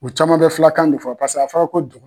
U caman bɛ filakan de fɔ paseke a fɔ la ko dugu